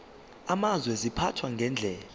amazwe ziphathwa ngendlela